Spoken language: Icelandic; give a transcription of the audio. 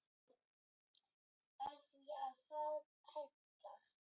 Af því að það hentar.